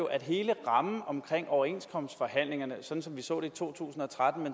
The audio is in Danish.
at hele rammen omkring overenskomstforhandlingerne sådan som vi så det i to tusind og tretten og